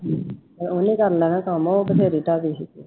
ਉਹਨੇ ਕਰਨਾ ਹੈਂ ਕੰਮ ਉਹ ਤੇ ਫਿਰ